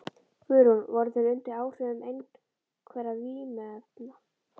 Guðrún: Voru þeir undir áhrifum einhverra vímuefna?